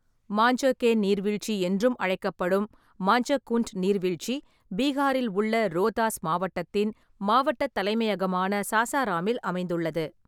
மாஞ்சர் கே நீர்வீழ்ச்சி என்றும் அழைக்கப்படும் மாஞ்சர் குண்ட் நீர்வீழ்ச்சி பீகாரில் உள்ள ரோதாஸ் மாவட்டத்தின் மாவட்டத் தலைமையகமான சாசாராமில் அமைந்துள்ளது.